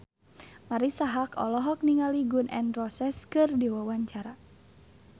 Marisa Haque olohok ningali Gun N Roses keur diwawancara